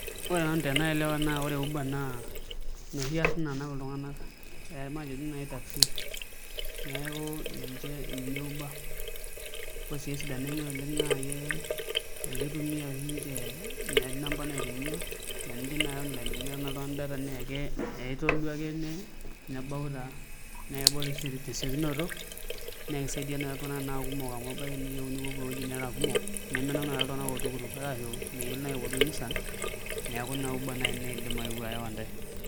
Ore nanu tenaelewa naa ore uber naa inoshu arin naanap iltungana ee matejo nI taksi neeku ninche ninye uber ore sii esidano enye oleng naa eke ekeitumiya oshi inche etii inamba naitumiya naa enijing nai online teniyata nI oltungani data neeke aitolu ake nebau taa nekebau tesiokinoto naa keisaidia nai iltungana tenaa kumok amu ebaiki niyieu nipopou ewueiji nirara kumok nemenap nai iltungana oltukutuk arashu meyieloi nai aipotu enisan neeku Ina uber nai naidim ayeu ayawa ntae .